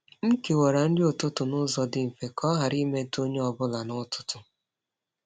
M kewara nri ụtụtụ n’ụzọ dị mfe ka ọ ghara imetụ onye ọ bụla n’ụtụtụ.